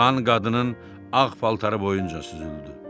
Qan qadının ağ paltarı boyunca süzüldü.